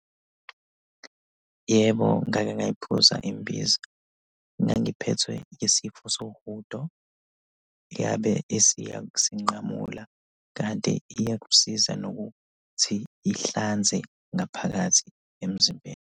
Yebo, ngake ngayiphuza imbiza. Ngangiphethwe isifo sohudo. Yabe isiyasinqamula, kanti iyakusiza nokuthi ihlanze ngaphakathi emzimbeni.